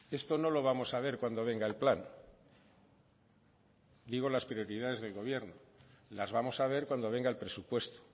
esto no lo vamos a ver cuando venga el plan digo las prioridades del gobierno las vamos a ver cuando venga el presupuesto